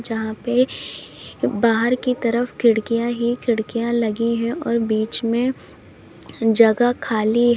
जहां पे बाहर की तरफ खिड़कियां ही खिड़कियां लगी है और बीच में जगह खाली--